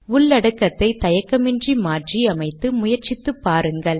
உள்ளடக்கத்தை தயக்கமின்றி மாற்றி அமைத்து முயற்சித்து பாருங்கள்